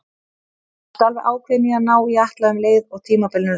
Varstu alveg ákveðinn í að ná í Atla um leið og tímabilinu lauk?